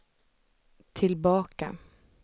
tillbaka